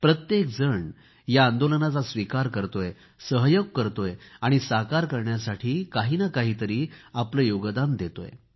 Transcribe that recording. प्रत्येकजण या आंदोलनाचा स्वीकार करतोय सहकार्य करतोय आणि साकार करण्यासाठी काही ना काहीतरी आपले योगदान देत आहे